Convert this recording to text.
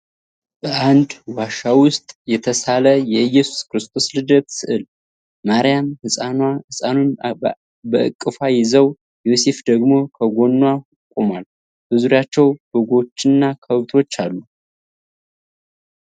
በአንድ ዋሻ ውስጥ የተሳለ የኢየሱስ ክርስቶስ ልደት ሥዕል። ማርያም ሕፃኑን በእቅፏ ይዛው፣ ዮሴፍ ደግሞ ከጎኗ ቆሟል፤ በዙሪያቸው በጎችና ከብቶች አሉ።